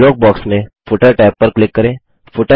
अब dialog box में footer tab पर क्लिक करें